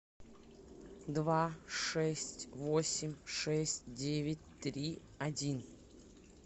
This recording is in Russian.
два шесть восемь шесть девять три один